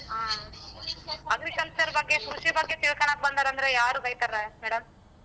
ಆ agriculture ಬಗ್ಗೆ ಕೃಷಿ ಬಗ್ಗೆ ತಿಳ್ಕಣಕ್ ಬಂದಾರಂದ್ರೆ ಯಾರು ಬೈತಾರೆ madam?